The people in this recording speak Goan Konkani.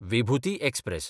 विभुती एक्सप्रॅस